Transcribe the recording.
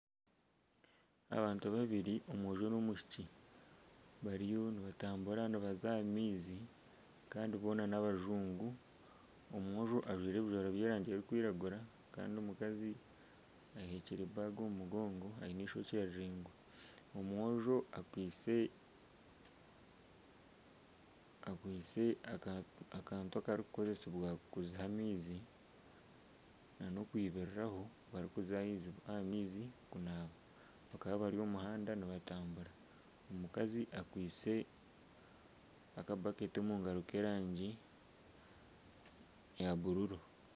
Abantu babiri omwojo n'omwishiki bariyo nibatambura nibaza aha maizi kandi boona n'abajungu. Omwojo ajwaire ebijwaro by'erangi erikwiragura kandi omukazi aheekire enshaho omu mugongo aine eishokye riraingwa. Omwojo akwaitse akantu akarikukoresibwa kuziha amaizi nana okwibiriraho barikuza aha maizi kunaaba. Bakaba bari omu muhanda nibatambura. Omukazi akwaitse akabaketi omu ngaro k'erangi ya bururu.